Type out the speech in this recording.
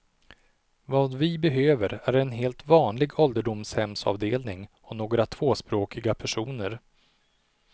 Vad vi behöver är en helt vanlig ålderdomshemsavdelning och några tvåspråkiga personer.